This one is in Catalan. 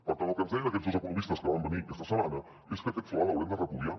per tant el que ens deien aquests dos economistes que van venir aquesta setmana és que aquest fla l’haurem de repudiar